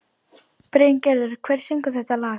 Bryngerður, hver syngur þetta lag?